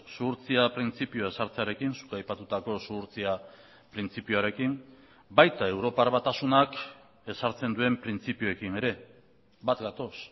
zuhurtzia printzipioa ezartzearekin zuk aipatutako zuhurtzia printzipioarekin baita europar batasunak ezartzen duen printzipioekin ere bat gatoz